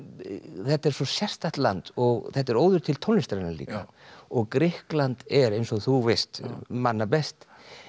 þetta er svo sérstakt land og þetta er óður til tónlistarinnar líka og Grikkland er eins og þú veist manna best